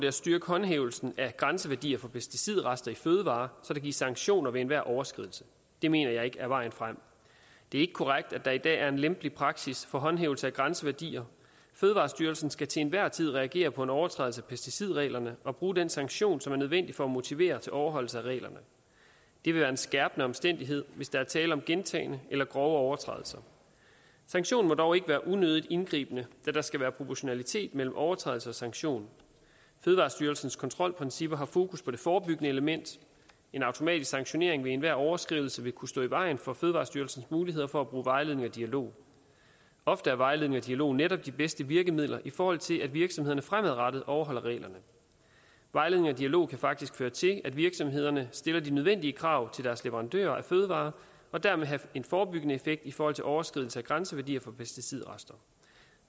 at styrke håndhævelsen af grænseværdier for pesticidrester i fødevarer så der gives sanktioner ved enhver overskridelse det mener jeg ikke er vejen frem det er ikke korrekt at der i dag er en lempelig praksis for håndhævelse af grænseværdier fødevarestyrelsen skal til enhver tid reagere på en overtrædelse af pesticidreglerne og bruge den sanktion som er nødvendig for at motivere til overholdelse af reglerne det vil være en skærpende omstændighed hvis der er tale om gentagne eller grove overtrædelser sanktionen må dog ikke være unødigt indgribende da der skal være proportionalitet mellem overtrædelse og sanktion fødevarestyrelsens kontrolprincipper har fokus på det forebyggende element en automatisk sanktionering ved enhver overskridelse vil kunne stå i vejen for fødevarestyrelsens muligheder for at bruge vejledning og dialog ofte er vejledning og dialog netop de bedste virkemidler i forhold til at virksomhederne fremadrettet overholder reglerne vejledning og dialog kan faktisk føre til at virksomhederne stiller de nødvendige krav til deres leverandører af fødevarer og dermed have en forebyggende effekt i forhold til overskridelse af grænseværdier for pesticidrester